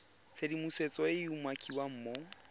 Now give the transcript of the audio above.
tshedimosetso e e umakiwang mo